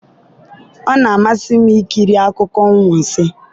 ọ na-amasị m ikiri akụkọ anwansi